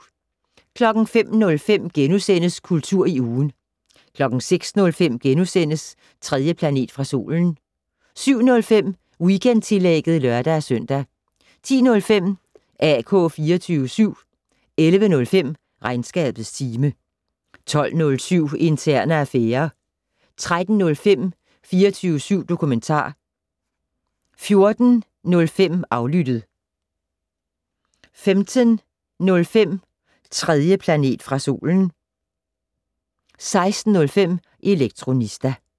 05:05: Kultur i ugen * 06:05: 3. planet fra solen * 07:05: Weekendtillægget (lør-søn) 10:05: AK 24syv 11:05: Regnskabets time 12:07: Interne affærer 13:05: 24syv dokumentar 14:05: Aflyttet 15:05: 3. planet fra solen 16:05: Elektronista